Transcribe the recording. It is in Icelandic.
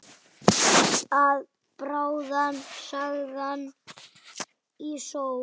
Að bráðna saman í sólinni